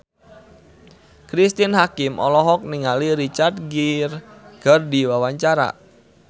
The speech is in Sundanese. Cristine Hakim olohok ningali Richard Gere keur diwawancara